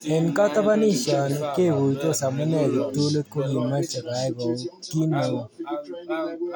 Eng katabanisio ni, keguitos amune kiptulit kokimeche koyay ki neu noto.